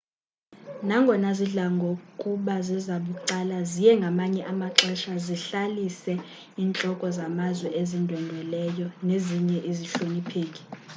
nangonga zidla ngokuba zezabucala ziye ngamanye amaxesha zihlalise intloko zamazwe ezindwendweleyo nezinye izihlonipheki